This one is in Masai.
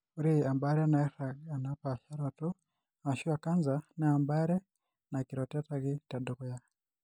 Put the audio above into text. Ore embaare nairag enapaasharoto ashu ecancer naa embaare naikirotetaki tedukuya.